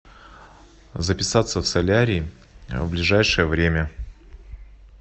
записаться в солярий в ближайшее время